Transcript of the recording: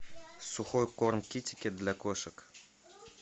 сухой корм китекет для кошек